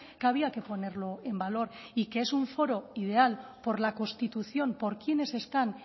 que había que ponerlo en valor y que es un foro ideal por la constitución por quienes están